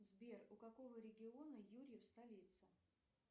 сбер у какого региона юрьев столица